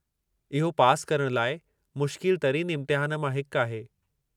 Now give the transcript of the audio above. इहो पासि करणु लाइ मुश्किल तरीन इम्तिहान मां हिकु आहे।